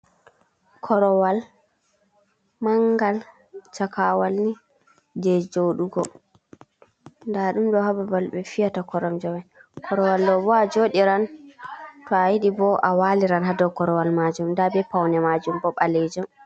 Korowal mangal chakawal ni je joɗugo. Nɗ ɗum ɗo ha babal be fiyata koromje mai. Korowal ɗo bo a joɗiran, to a yiɗi bo a waliran ha ɗow korowal majum. Nɗa be paune majum bo balejum.